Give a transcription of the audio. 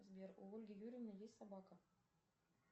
сбер у ольги юрьевны есть собака